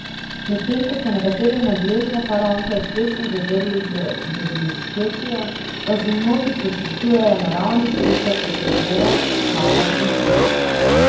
Medtem ko so nekateri nadležne faraonke uspešno zatrli z dezinskecijo, pa se mnogi poslužujejo naravnih sredstev, kot so boraks, kava in cimet.